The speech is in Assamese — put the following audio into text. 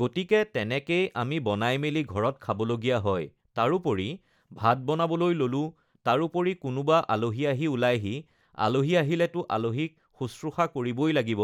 গতিকে তেনেকেই আমি বনাই মেলি ঘৰত খাব লগীয়া হয় তাৰোপৰি ভাত বনাবলৈ ল'লো তাৰোপৰি কোনোবা আলহি আহি উলায়হি আলহি আহিলেতো আলহিক শুশ্ৰূষা কৰিবই লাগিব